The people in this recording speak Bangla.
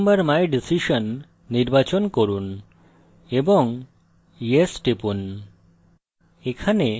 remember my decision নির্বাচন করুন এবং yes টিপুন